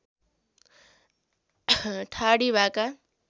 ठाडी भाका